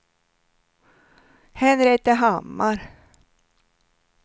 Henrietta Hammar